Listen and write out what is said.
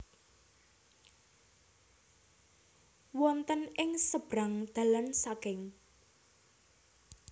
Wonten ing sebrang dalan saking